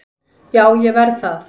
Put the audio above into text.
Já, ég verð það